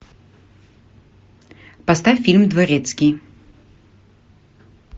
поставь фильм дворецкий